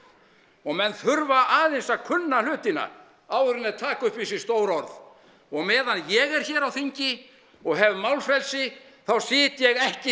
og menn þurfa aðeins að kunna hlutina áður en þeir taka upp í sig stór orð og meðan ég er hér á þingi og hef málfrelsi þá sit ég ekki